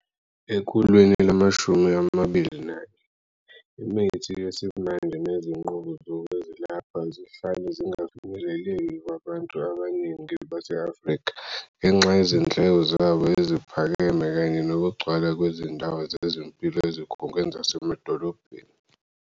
Ekhulwini lamashumi amabili nanye, imithi yesimanje nezinqubo zezokwelapha zihlale zingafinyeleleki kubantu abaningi base-Afrika ngenxa yezindleko zabo eziphakeme kanye nokugcwala kwezindawo zezempilo ezikhungweni zasemadolobheni.